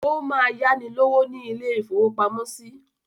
Ó máa yáni lówó ní ilé-ìfowópamọ́sí.